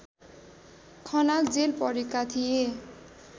Khanal jail परेका थिए